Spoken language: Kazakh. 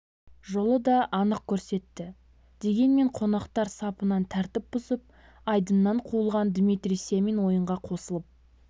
жолы да анық көрсетті дегенмен қонақтар сапынан тәртіп бұзып айдыннан қуылған дмитрий семин ойынға қосылып